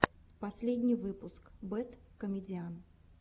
последний выпуск бэд комедиан